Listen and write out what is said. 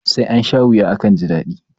Sai ansha wuya akansha daɗi.